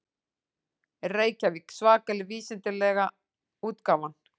Reykjavík: Svakalega vísindalega útgáfan.